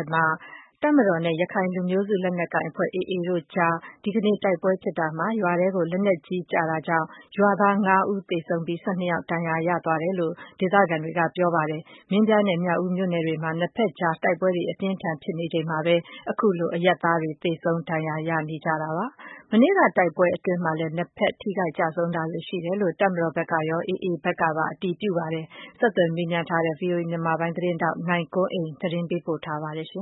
ယ်မှာ တပ်မတော်နဲ့ ရခိုင်လူမျိုးစုလက်နက်ကိုင်အဖွဲ့ AA တို့အကြား ဒီကနေ့ တိုက်ပွဲဖြစ်တာမှာ ရွာထဲကို လက်နက်ကြီးကျတာကြောင့် ရွာသား ငါး ဦး သေဆုံးပြီး ၁၂ ယောက် ဒဏ်ရာရသွားတယ်လို့ ဒေသခံတွေက ပြောပါတယ်။ မင်းပြားနဲ့ မြောက်ဦးမြို့နယ်တွေမှာ နှစ်ဘက်ကြား တိုက်ပွဲတွေ အပြင်းအထန် ဖြစ်နေချိန်မှာပဲ အခုလို အရပ်သားတွေ သေဆုံး ဒဏ်ရာ ရကြတာပါ။ မနေ့က တိုက်ပွဲအတွင်းမှာလည်း နှစ်ဘက် ထိခိုက် ကျဆုံးတာတွေရှိတယ်လို့ တပ်မတော်ဘက်ကရော AA ဘက်ကပါ အတည်ပြု ပြောဆိုပါတယ်။ ဆက်သွယ် မေးမြန်းထားတဲ့ ဗွီအိုအေမြန်မာပိုင်း သတင်းထောက် နိုင်ကွန်းအိန်က သတင်းပေးပို့ထားပါတယ်။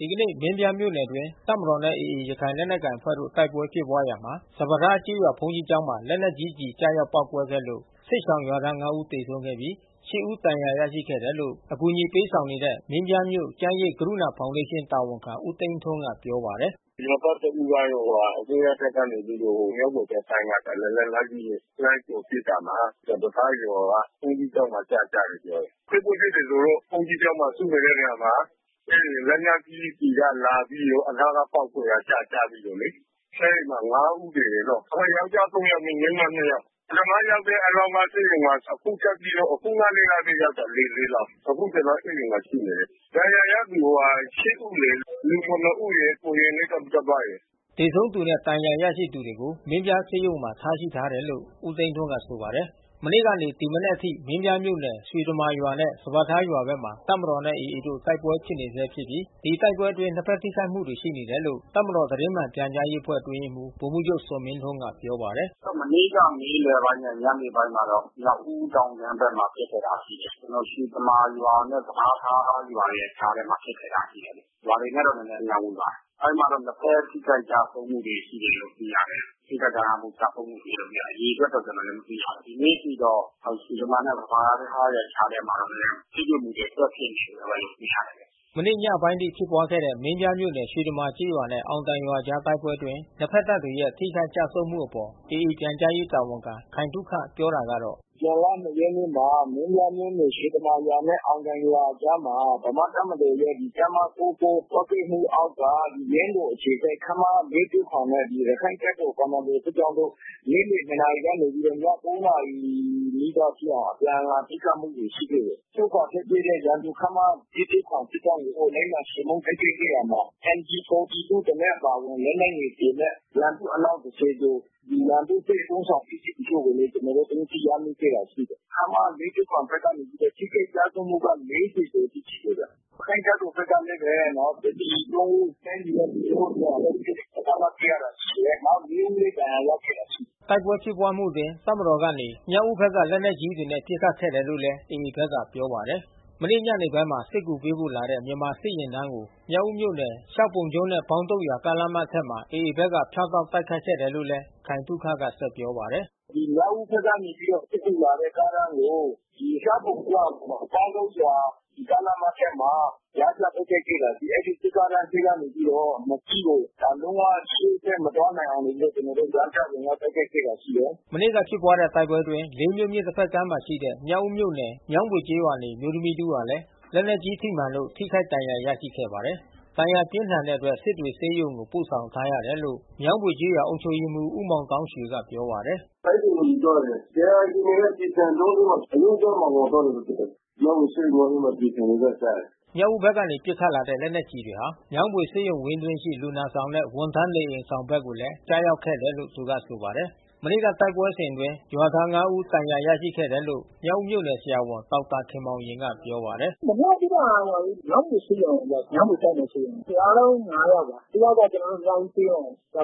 ဒီကနေ့ မင်းပြားမြို့နယ်အတွင်း တပ်မတော်နဲ့ AA ရခိုင်လက်နက်ကိုင်အဖွဲ့တို့ တိုက်ပွဲဖြစ်ပွားရာမှာ စပါးထားကျေးရွာ ဘုန်းကြီးကျောင်းမှာ လက်နက်ကြီး ကျည်ကျရောက် ပေါက်ကွဲခဲ့လို့ စစ်ရှောင်ရွာသား ငါး ဦး သေဆုံးပြီး ရှစ် ဦး ဒဏ်ရာ ရရှိခဲ့တယ်လို့ အကူညီပေးဆောင်နေတဲ့ မင်းပြာမြို့ကျန်းရိပ် ကရုဏာ ဖေါင်ဒေးရှင်းတာဝန်ခံ ဦးသိန်းထွန်းက ပြောပါတယ်။ “ရွာသားတဦးကတော့ အစိုးရတပ်ကနေပြီးတော့ မြောင်းဘွေဘက်ပိုင်းကနေ လက်နက်ကြီးနဲ့ လှမ်းကြိုပစ်တာမှာ စပါးထားရွာက ဘုန်းကြီးကျောင်းမှာ ကျကျတယ် ပြောတယ်။ တိုက်ပွဲဖြစ်တယ်ဆိုတော့ ဘုန်းကြီးကျောင်းမှာစုနေတဲ့ နေရာမှာ အဲဒီလက်နက်ကြီး ကျည်ကလာပြီးတော့ အနားကပေါက်ကွဲတာ ကျကျပြီးတော့လေ။ အဲဒီမှာ ငါးဦး သေတယ်နော်။ ယောကျာ်း သုံး ယောက်၊ မိန်းမ နှစ် ယောက်။ ပထမရောက်တဲ့ အလောင်းကဆေးရုံမှာ။ အခုထပ်ပြီးတော့ ခုနကပဲ ရောက်တယ် လေးလောင်း။ အခုကျနော် အဲဒီမှာ ရှိနေတယ်။ ဒဏ်ရာရသူ ရှစ် ဦးလေ။ လူ ခုနစ် ဦးရယ်၊ ကိုရင်လေး တပါး ရယ်။” သေဆုံးသူနဲ့ ဒဏ်ရာရသူတွေကို မင်းပြားဆေးရုံမှာ ထားရှိတယ်လို့ ဦးသိန်းထွန်းက ဆိုပါတယ်။ မနေ့ကနေ ဒီမနက်အထိ မင်းပြားမြို့နယ် ရွှေတမာရွာနဲ့ စပါးထားရွာဘက်မှာ တပ်မတော်နဲ့ AA တို့ တိုက်ပွဲ ဖြစ်ပွားနေဆဲဖြစ်ပြီး ဒီတိုက်ပွဲအတွင်း နှစ်ဘက် ထိခိုက်မှုတွေ ရှိနေတယ်လို့ တပ်မတော် သတင်းမှန်ပြန်ကြားရေးအဖွဲ့ အတွင်းရေးမှူး ဗိုလ်မှူးချုပ်ဇော်မင်းထွန်းက ပြောပါတယ်။ “မနေ့က နေ့လယ်ပိုင်းနဲ့ ညနေပိုင်းမှာတော့ မြောက်ဦးတောင်ခြမ်းထဲမှာ ဖြစ်ခဲ့တာရှိတယ်။ ကျနော်တို့ ရွှေတမာရွာနဲ့ စပါးထားရွာရဲ့ကြားထဲမှာ ဖြစ်ခဲ့တာရှိတယ်။ ရွာတွေနဲ့တော့ အလှမ်းဝေးပါတယ်။ အဲဒီမှာတော့ နှစ်ဘက်ထိခိုက်ကျဆုံးမှုတွေ ရှိတယ်လို့ သိရတယ်။ ထိခိုက်ဒဏ်ရာရ ကျဆုံးမှုအရေအတွက်တော့ ကျနော်လည်း မသိရဘူး။ ဒီနေ့အထိတော့ ရွှေတမာနဲ့ စပါးထားကြားထဲမှာတော့ ထိတွေ့မှုတွေ ဆက်ဖြစ်နေတုန်းပဲလို့ သိရတယ်။” မနေ့ညပိုင်းအထိ ဖြစ်ပွားခဲ့တဲ့ မင်းပြားမြို့နယ် ရွှေတမာကျေးရွာနဲ့ အောင်တိုင်ရွာအကြား တိုက်ပွဲအတွင်း နှစ်ဘက်တပ်တွေရဲ့ ထိခိုက် ကျဆုံးမှုအပေါ် AA ပြန်ကြားရေးတာဝန်ခံ ခိုင်သုခ ပြောတာကတော့ - “ဇွန်လ ၂ ရက်နေ့မှာ မင်းပြားမြို့နယ် ရွှေတမာရွာနဲ့ အောင်တိုင်ရွာအကြားမှာ ဗမာ့တပ်မတော်ရဲ့ တပ်မ ၉၉ ကွပ်ကဲမှု အောက်က ယင်းတော်အခြေစိုက် ခမရ ၄၁၇ နဲ့ ရခိုင့်တပ်တော်ကွန်မန်ဒိုစစ်ကြောင်းတို့ နေ့လယ် ၂ နာရီကနေ ည ၉ နာရီ နီးပါးထိအောင် အပြန်အလှန် ပစ်ခတ်မှုတွေ ရှိခဲ့တယ်။ ဆုတ်ခွါထွက်ပြေးတဲ့ ရန်သူခမရ ၄၁၇ စစ်ကြောင်းကို လိုက်လံ ချေမှုန်းတိုက်ခိုက်ခဲ့ရာမှာ MG-42 တလက်အပါအဝင် လက်နက်ငယ် ဆယ် လက်၊ ရန်သူအလောင်း တဆယ် ကျော်၊ ရန်သူ့စစ် အသုံးဆောင်ပစ္စည်းတချို့ကိုလည်း ကျနော်တို့ သိမ်းဆည်းရမိခဲ့တာ ရှိတယ်။ ခမရ ၄၁၇ ဘက်ကတော့ ထိခိုက်ကျဆုံးမှုကတော့ ၄ဝ ကျော် ရှိတယ်ဗျ။ ရခိုင့်တပ်တော်ဘက်ကလည်းပဲ စစ်သည် သုံး ဦး တိုင်းပြည်နဲ့ လူမျိုးအတွက် ပေးဆပ်ခဲ့တယ်။ နောက် ၄ ဦးလည်းဒဏ်ရာရခဲ့တာရှိတယ်။ တိုက်ပွဲဖြစ်ပွားမှုအတွင်း တပ်မတော်ဘက်ကနေ မြောက်ဦးဘက်က လက်နက်ကြီးတွေနဲ့ ပစ်ခတ်ခဲ့တယ်လို့လည်း AA ဘက် ကပြောပါတယ်။ မနေ့ညနေပိုင်းမှာလည်း စစ်ကူပေးဖို့လာတဲ့ မြန်မာစစ်ယာဉ်တန်းကို မြောက်ဦးမြို့နယ် ရှောက်ပုံကျွန်းနဲ့ ပေါင်းတုတ်ရွာ" ကားလမ်းမထက်မှာ AA ဘက်က ဖြတ်တောက် တိုက်ခိုက်ခဲ့တယ်လို့လည်း ခိုင်သုခက ဆက်ပြောပါတယ်။ “မြောက်ဦးဘက်ကနေ စစ်ကူလာတဲ့ ကားတန်းကို ရှောက်ပုံကျွန်းနဲ့ ပေါင်းတုတ်ရွာ ကားလမ်းမထက်မှာ ကြားဖြတ်တိုက်ခိုက်ခဲ့တာ ရှိတယ်။ အဲဒီ စစ်ကားတန်းထဲကနေပြီးတော့ နှစ် စီးကို လုံးဝ ရှေ့ဆက်မသွားနိုင်အောင် နေပြီးတော့ ကျနော်တို့ ကြားဖြတ်တိုက်ခိုက်ခဲ့တာ ရှိတယ်။ မနေ့ကဖြစ်တဲ့ တိုက်ပွဲအတွင်း လေးမြို့မြစ်တဘက်ကမ်းမှာရှိတဲ့ မြောက်ဦးမြိ့နယ်၊ မြောင်းဘွေကျေးရွာနေ အမျိုးသမီး တဦးဟာလည်း လက်နက်ကြီး ထိမှန်လို့ ထိခိုက်ဒဏ်ရာ ရရှိခဲ့ပါတယ်။ ဒဏ်ရာပြင်းထန်တဲ့အတွက် စစ်တွေ ဆေးရုံကို ပို့ဆောင်ထားရတယ်လို့ မြောင်းဘွေကျေးရွာ အုပ်ချုပ်ရေးမှူး ဦးမောင်သောင်းရွေက ပြောပါတယ်။ “စစ်တွေကို ယူသွားတယ်။ ဒဏ်ရာ အခြေအနေက ကျည်ဆံကျောအတွင်း အရိုးကြားမှာ ဝင်သွားတာ ဖြစ်တယ်။ မြောင်းဘွေဆေးရုံမှာလည်း ကျည်ဆံတွေလည်း ကျတယ်။” မြောက်ဦးဘက်ကနေ ပစ်ခတ်လာတဲ့ လက်နက်ကျည်တွေဟာ မြောင်းဘွေဆေးရုံဝင်းအတွင်းရှိ လူနာဆောင်နဲ့ ဝန်ထမ်း နေအိမ်အဆောင်ဘက်ကိုလည်း ကျရောက်ခဲ့တယ်လို့ သူကဆိုပါတယ်။ မနေ့ကတိုက်ပွဲစဉ်အတွင်း ရွာသား ငါး ဦး ဒဏ်ရာ ရရှိခဲ့တယ်လို့ မြောက်ဦးမြို့နယ် ဆရာဝန်ဒေါက်တာ ခင်မောင်ရင်က ပြောပါတယ်။ “မနေ့ကဖြစ်တဲ့ဟာတော့ မြောင်းဘွေဆေးရုံကို ရောက်တယ်။ မြောင်းဘွေတိုက်နယ် ဆေးရုံကို။ အားလုံး ငါး ယောက်ပါ။ တယောက်က ကျနော်တို့ မြောက်ဦးဆေးရုံ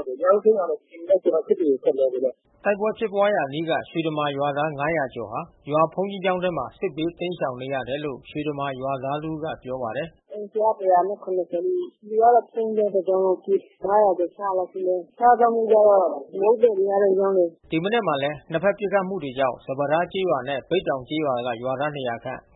ကို ရောက်တယ်။ မြောက်ဦးဆေးရုံကလည်း ဒီမနက် ကျနော်တို့ စစ်တွေကို ဆက်လွှဲလိုက်တယ်။” တိုက်ပွဲဖြစ်ပွါးရာအနီးက ရွှေတမာရွာသား ၅ဝဝ ကျော်ဟာ ရွာဘုန်းကြီးကျောင်းထဲမှာ စစ်ဘေးတိမ်းရှောင်နေရတယ်လို့ ရွှေတမာရွာသားတဦးက ပြောပါတယ်။ “အိမ်ကတော့ ၁၇ဝ နီးနီး။ လူကတော့ ဘုန်းကြီးကျောင်း တကျောင်းလုံးကို ပြေးတယ် ။ ၅ဝဝ ကျော် ၆ဝဝ လောက်ရှိမယ်။ စားသောက်မှုကျတော့ မုန့်သည်တွေက ရောင်းတယ်။” ဒီမနက်မှာလည်း နှစ်ဘက် ပစ်ခတ်နေမှုကြောင့် စပါးထားကျေးရွာနဲ့ ဘိတ်တောင်ကျေးရွာက ရွာသား ၂ဝဝ ခန့်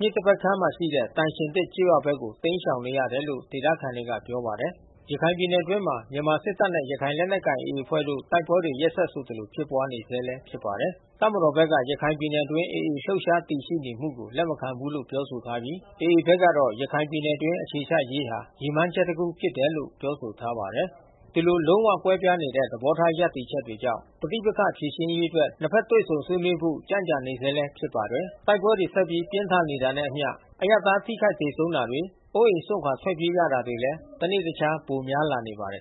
မြစ်တဘက်ကမ်းရှိ သံရှင်သစ်ကျေးရွာဘက်ကို တိမ်းရှောင်နေရတယ်လို့ ဒေသခံတွေက ပြောပါတယ်။ ရခိုင်ပြည်နယ်အတွင်းမှာ မြန်မာစစ်တပ်နဲ့ ရခိုင်လက်နက်ကိုင် AA အဖွဲ့တို့ တိုက်ပွဲတွေ ရက်ဆက်ဆိုသလို ဖြစ်ပွားနေဆဲလည်း ဖြစ်ပါတယ်။ တပ်မတော်ဘက်က ရခိုင်ပြည်နယ်အတွင်း AA လှုပ်ရှားတည်ရှိနေမှုကို လက်မခံဘူးလို့ ပြောထားပြီး AA ဘက်ကတော့ ရခိုင်ပြည်နယ်အတွင်း အခြေချရေးဟာ ရည်မှန်းချက်တခု ဖြစ်တယ်လို့ ပြောဆိုထားပါတယ်။ ဒီလို လုံးဝကွဲပြားတဲ့ သဘောထား ရပ်တည်ချက်တွေကြောင့် ပဋိပက္ခဖြေရှင်းရေးအတွက် နှစ်ဘက် တွေ့ဆုံဆွေးနွေးဖို့ ကြန့်ကြာနေဆဲ ဖြစ်ပါတယ်။ တိုက်ပွဲတွေ ဆက်ပြီး ပြင်းထန်နေတာနဲ့အမျှ အရပ်သား ထိခိုက် သေဆုံးတာတွေ၊ အိုးအိမ်စွန့်ခွာ ထွက်ပြေးရတာတွေလည်း တနေ့တခြား ပိုများလာနေပါတယ်